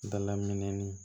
Dalaminɛni